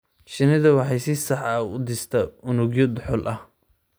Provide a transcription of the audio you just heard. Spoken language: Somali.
Shinnidu waxay si sax ah u dhistaa unugyo dhuxul ah.